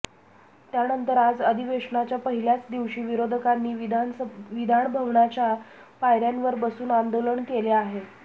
त्यानंतर आज अधिवेशनाच्या पहिल्याच दिवशी विरोधकांनी विधानभवनाच्या पायऱ्यांवर बसून आंदोलन केले आहे